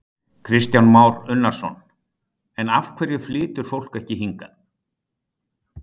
Kristján Már Unnarsson: En af hverju flytur fólk ekki hingað?